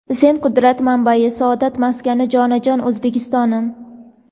"Sen — qudrat manbai, saodat maskani, jonajon O‘zbekistonim!".